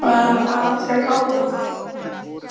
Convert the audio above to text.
Kannski var eitthvað að hjá Halla?